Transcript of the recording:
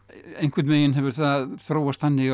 einhvern veginn hefur það þróast þannig